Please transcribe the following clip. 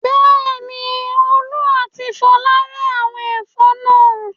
Bẹ́ẹ̀ni, Olú àti Fola rẹ́ àwọn ẹ̀fọ́ náà.